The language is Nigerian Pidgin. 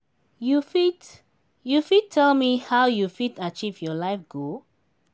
you fit you fit tell me how you fit achieve your life goal?